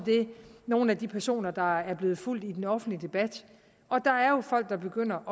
nogle af de personer der er blevet fulgt i den offentlige debat og der er jo folk der begynder